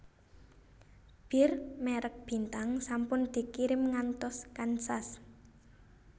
Bir merk Bintang sampun dikirim ngantos Kansas